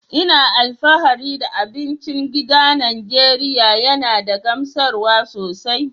Ina alfahari da abincin gida na Najeriya yana da gamsarwa sosai.